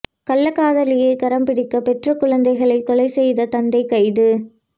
கள்ளக் காதலியை கரம் பிடிக்க பெற்ற குழந்தைகளை கொலை செய்த தந்தை கைது